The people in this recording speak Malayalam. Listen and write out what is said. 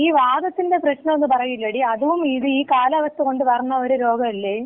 ഈ വാതത്തിന്‍റെ പ്രശ്നം എന്ന് പറയൂല്ലേടി, അതും ഈ കാലാവസ്ഥ കൊണ്ട് വരണ ഒരു രോഗം അല്ലേ?